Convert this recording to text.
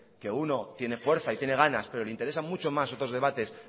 que uno tiene fuerza y tiene ganas pero le interesa mucho más otros debates